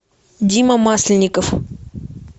дима масленников